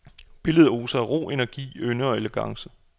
Billedet oser af ro, energi, ynde og elegance.